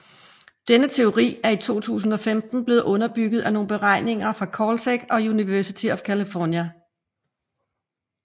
Denne teori er i 2015 blevet underbygget af nogle beregninger fra Caltech og University of California